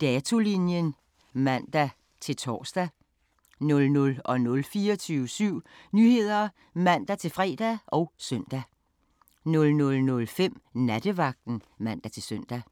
Datolinjen (man-tor) 00:00: 24syv Nyheder (man-fre og søn) 00:05: Nattevagten (man-søn)